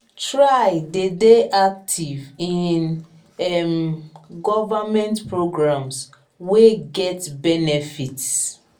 try de dey active in um government programs wey get benefits